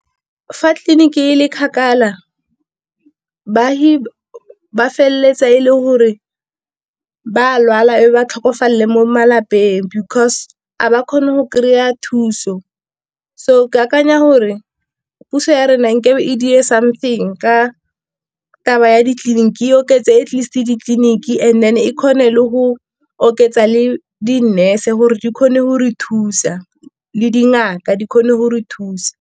Fa tleliniki e le kgakala baagi ba feleletsa e le gore ba lwala e ba tlhokofalele mo malapeng, because a ba kgone go kry-a thuso. So ke akanya gore puso ya rena nkabe e something ka taba ya ditleliniki e oketse at least ditleliniki, and then e kgone le go oketsa le di nurse gore di kgone go re thusa, le dingaka di kgone go re thusa.